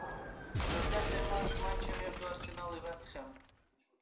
трансляция матча между арсеналом и вест хэм